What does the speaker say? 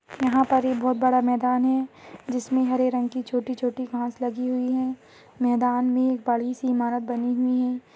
यहाँ पर एक बहुत बड़ा मैदान है जिसमें हरे रंग की छोटी-छोटी घास लगी हुई है मैदान में एक बड़ी सी इमारत बनी हुई है।